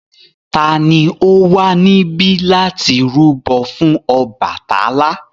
Ta ni ó wà níbí láti rúbọ fún Ọbàtálá?